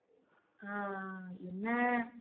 ஆஹ் என்ன